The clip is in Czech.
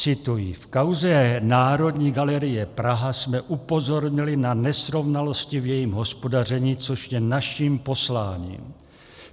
Cituji: V kauze Národní galerie Praha jsme upozornili na nesrovnalosti v jejím hospodaření, což je naším posláním.